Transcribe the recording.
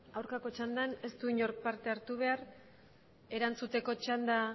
aurkako txandan ez du inork parte hartu behar erantzuteko txanda